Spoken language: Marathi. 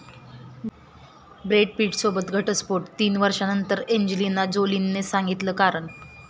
ब्रॅड पिटसोबत घटस्फोट, तीन वर्षांनंतर एंजेलिना जोलीनं सांगितलं कारण